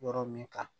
Yɔrɔ min kan